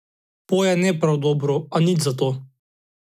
Poje ne prav dobro, a nič za to.